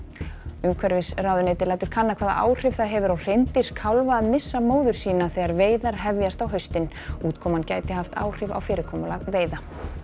umhverfisráðuneytið lætur kanna hvaða áhrif það hefur á hreindýrskálfa að missa móður sína þegar veiðar hefjast á haustin útkoman gæti haft áhrif á fyrirkomulag veiða